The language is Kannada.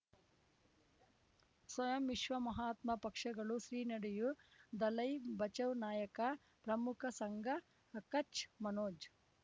ಸ್ವಯಂ ವಿಶ್ವ ಮಹಾತ್ಮ ಪಕ್ಷಗಳು ಶ್ರೀ ನಡೆಯೂ ದಲೈ ಬಚೌ ನಾಯಕ ಪ್ರಮುಖ ಸಂಘ ಕಚ್ ಮನೋಜ್